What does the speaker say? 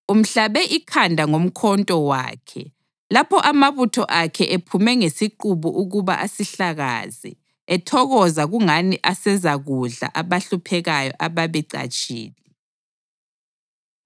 Umhlabe ikhanda ngomkhonto wakhe lapho amabutho akhe ephume ngesiqubu ukuba asihlakaze, ethokoza kungani asezakudla abahluphekayo abebecatshile.